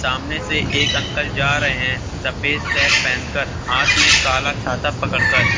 सामने से एक अंकल जा रहे हैं सफ़ेद शर्ट पहनकर हाथ में काला छाता पकड़कर।